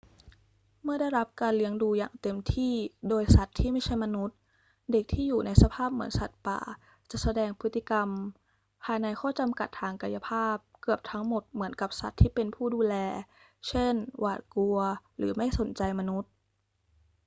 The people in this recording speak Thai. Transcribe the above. เมื่อได้รับการเลี้ยงดูอย่างเต็มที่โดยสัตว์ที่ไม่ใช่มนุษย์ เด็กที่อยู่ในสภาพเหมือนสัตว์ป่าจะแสดงพฤติกรรม ภายในข้อจำกัดทางกายภาพ เกือบทั้งหมดเหมือนกับสัตว์ที่เป็นผู้ดูแล เช่น หวาดกลัว หรือไม่สนใจมนุษย์